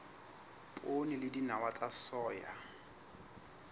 poone le dinawa tsa soya